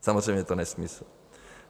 Samozřejmě je to nesmysl.